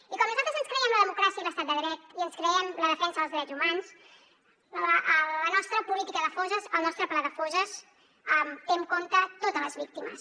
i com nosaltres ens creiem la democràcia i l’estat de dret i ens creiem la defensa dels drets humans la nostra política de fosses el nostre pla de fosses té en compte totes les víctimes